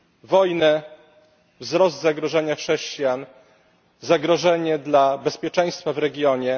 Wojnę, wzrost zagrożenia chrześcijan, zagrożenie dla bezpieczeństwa w regionie.